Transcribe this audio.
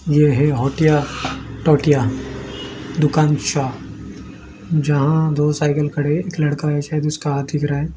यह है होतिया टोटिया दुकान शाह जहां दो साइकिल खड़े एक लड़का है शायद उसका हाथ दिख रहा है।